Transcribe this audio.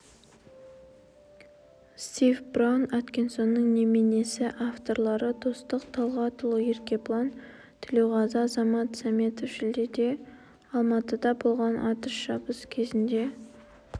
стив браун аткинсонның неменесі авторлары достық талғатұлы еркебұлан тілеуқазы азамат сәметов шілдеде алматыда болған атыс-шабыс кезінде